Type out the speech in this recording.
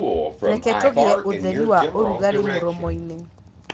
reke tugie utheri wa ũrugari mũromoini